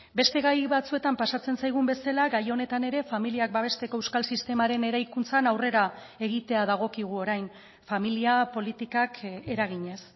beste gai batzuetan pasatzen zaigun bezala gai honetan ere familiak babesteko euskal sistemaren eraikuntzan aurrera egitea dagokigu orain familia politikak eraginez